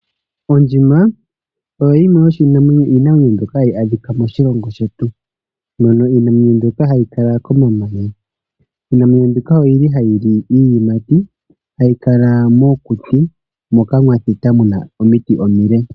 Ondjima oyo yimwe yomiinamwenyo mbyoka hayi adhika moshilongo shetu. Ohayi adhika komahala hoka kuna omamanya nohayi li iiyimati noku kala pehala mpoka pwa thita pu na omiti omile.